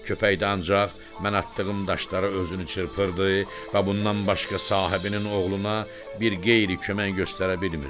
Köpək də ancaq mən atdığım daşlara özünü çırpırdı və bundan başqa sahibinin oğluna bir qeyri kömək göstərə bilmirdi.